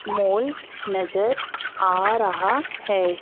मोल नजर आ रहा है।